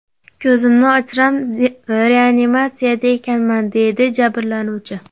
Ko‘zimni ochsam, reanimatsiyada ekanman”, deydi jabrlanuvchi.